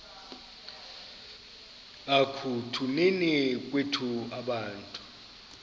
ekutuneni kwethu abantu